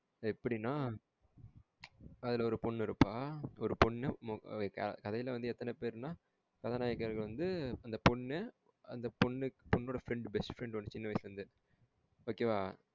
அது எப்டினா அதுல ஒரு பொண்ணு இருப்பா. ஒரு பொண்ணு கதைல வந்து எத்தன பேர்னா கதாநாயகர்கள் வந்து அந்த பொண்ணு அந்த பொண்ணோட friend best friend ஒன்னு சின்ன வயசுல இருந்தே okay வா?